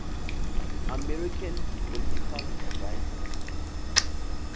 american political writers